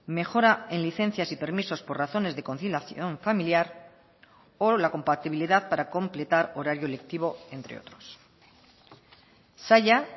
mejora en licencias y permisos por razones de conciliación familiar o la compatibilidad para completar horario lectivo entre otros saila